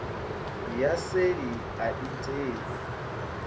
ya seli a i tei